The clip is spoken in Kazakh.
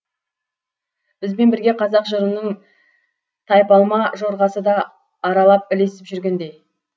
бізбен бірге қазақ жырының тайпалма жорғасы да аралап ілесіп жүргендей